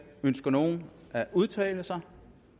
ønsker nogen at udtale sig